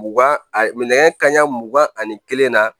Mugan a nɛgɛn kaɲa mugan ani kelen na